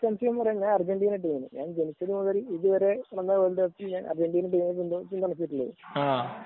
തീർച്ചയായും ഞാൻ അർജന്റീന ടീമാണ് ..